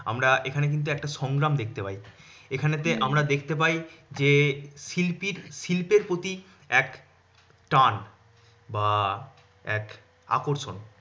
আম্রা এখানে কিন্তু একটা সংগ্রাম দেখতে পাই। এখানে তে আমরা দেখতে পাই যে শিল্পীর শিল্পের প্রতি এক টান। বা এক আকর্ষণ।